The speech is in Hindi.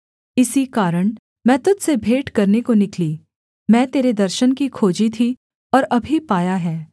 इसी कारण मैं तुझ से भेंट करने को निकली मैं तेरे दर्शन की खोजी थी और अभी पाया है